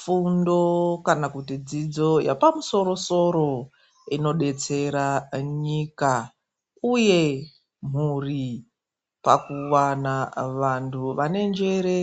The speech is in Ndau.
Fundo kana kuti dzidzo yepamusoro musoro inodetsera nyika uye mhuri pakuwana vantu vanenjere,